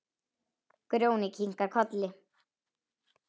Grjóni kinkar kolli.